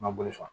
Ma boli fa